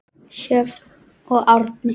Sjöfn og Árni.